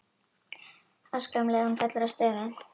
Öskra um leið og hún fellur að stöfum.